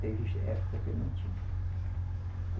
Teve época que não tinha.